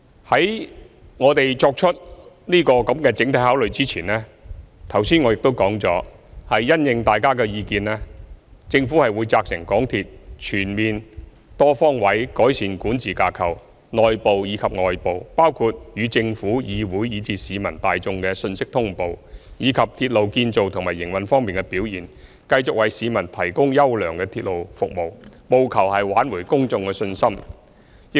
在我們作出整體考慮前，剛才我已說了，政府會因應大家的意見，責成港鐵公司全面和多方位改善內部和外部的管治架構，包括與政府、議會和市民大眾的信息通報，以及鐵路建造和營運方面的表現，繼續為市民提供優良的鐵路服務，務求挽回公眾的信心。